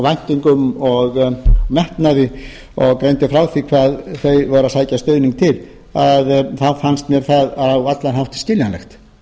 væntingum og metnaði og greindi frá því hvað þau væru að sækja stuðning til þá fannst mér það á allan hátt skiljanlegt